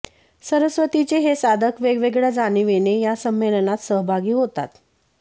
सरस्वतीचे हे साधक वेगवेगळ्या जाणिवेने या संमेलनात सहभागी होतात